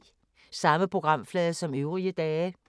Samme programflade som øvrige dage